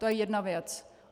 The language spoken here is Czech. To je jedna věc.